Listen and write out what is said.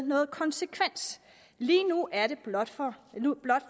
noget konsekvens lige nu er det blot for